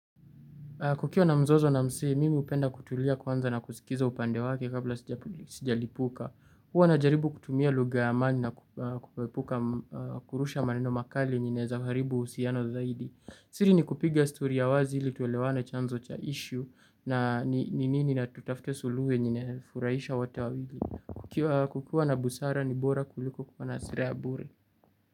Kukiwa na mzozo na msee, mimi hupenda kutulia kwanza na kusikiza upande wake kabla sijalipuka. Huwa najaribu kutumia lugha ya amani na kuepuka kurusha maneno makali yenye inaeza haribu uhusiano zaidi. Siri ni kupiga story ya wazi ili tuelewana chanzo cha issue na ni nini na tutafute suluhu yenye inafurahisha wote wawili. Kukiwa na busara ni bora kuliko kuwa na hasira ya bure.